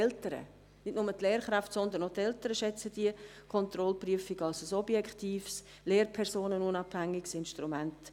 Auch die Eltern, nicht nur die Lehrkräfte, sondern auch die Eltern schätzen diese Kontrollprüfung als ein objektives, lehrpersonenunabhängiges Instrument.